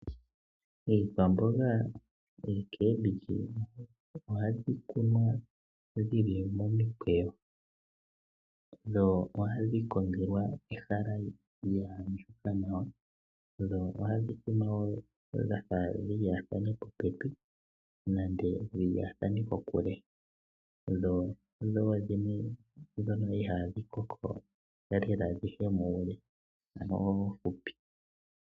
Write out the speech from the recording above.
Iikwamboga, ekembilyi ohadhi kunwa dhi li momikweyo. Dho ohadhi kongelwa ehala lya andjuka nawa. Dho ohadhi kunwa dha fa dhi lyaathane popepi nenge dhi lyaathane kokule. Dho odho wo dhimwe ndhono ihaadhi koko dhi ye muule ano oofupi.